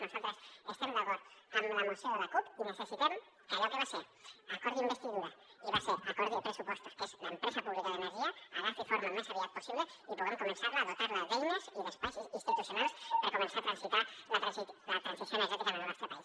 nosaltres estem d’acord amb la moció de la cup i necessitem que allò que va ser acord d’investidura i va ser acord de pressupostos que és l’empresa pública d’ener·gia agafi forma al més aviat possible i puguem començar a dotar·la d’eines i d’es·pais institucionals per començar a transitar la transició energètica en el nostre país